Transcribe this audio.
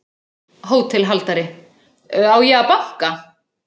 HÓTELHALDARI: Á ég að banka?